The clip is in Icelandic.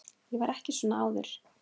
Ég var ekki svona áður.